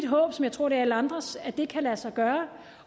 håb som jeg tror det er alle andres at det kan lade sig gøre